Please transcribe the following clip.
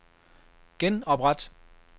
genopret